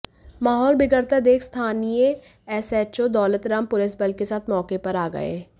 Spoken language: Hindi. माहौल बिगड़ता देख स्थानीय एसएचओ दौलत राम पुलिस बल के साथ मौके पर आ गये